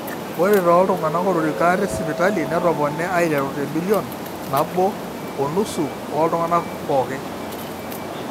ore tooltung'anak otoriko ate sipitali netopone aiterru temillion nabo onusu ooltung'anak pooki